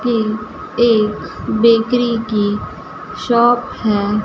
ये एक बेकरी की शॉप है।